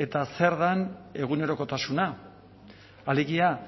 eta zer den egunerokotasuna alegia